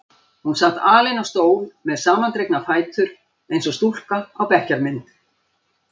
Hún sat alein á stól með samandregna fætur eins og stúlka á bekkjarmynd.